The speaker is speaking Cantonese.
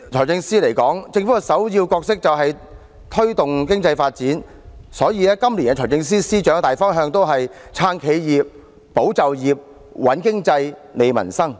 政府的首要角色是推動經濟發展，所以今年財政司司長採取的大方向也是"撐企業、保就業、穩經濟、利民生"。